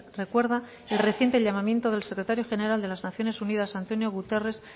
recuerda el reciente llamamiento del secretario general de las naciones unidas antónio guterres